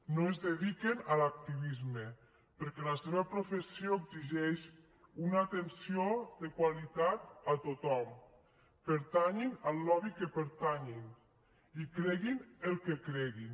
no es dediquen a l’activisme perquè la seva professió exigeix una atenció de qualitat a tothom pertanyin al lobby que pertanyin i creguin el que creguin